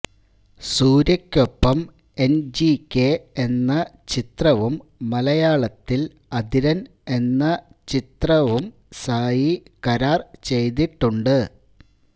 സൂര്യയ്ക്കൊപ്പം N G K എന്ന ചിത്രവും മലയാളത്തില് അതിരന് എന്ന ചിത്രവും സായി കരാര് ചെയ്തിട്ടുണ്ട്